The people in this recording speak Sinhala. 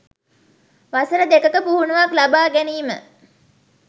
වසර දෙකක පුහුණුවක් ලබා ගැනීම.